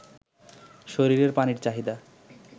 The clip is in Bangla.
শরীরের পানির চাহিদা